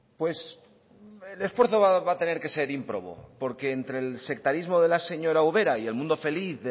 pues el esfuerzo va a tener que ser ímprobo porque entre el sectarismo de la señora ubera y el mundo feliz